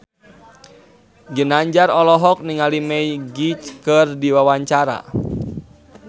Ginanjar olohok ningali Magic keur diwawancara